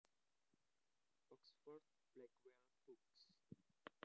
Oxford Blackwell Books